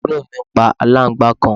àbúrò mi pa aláǹgbàá kan